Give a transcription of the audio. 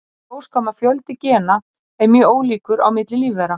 Í ljós kom að fjöldi gena er mjög ólíkur á milli lífvera.